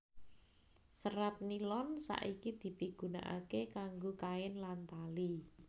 Serat nilon saiki dipigunakaké kanggo kain lan tali